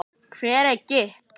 Hvað er gigt?